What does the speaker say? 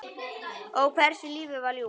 Ó, hversu lífið var ljúft.